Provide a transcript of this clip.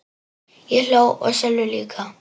Ég hló og Sölvi líka.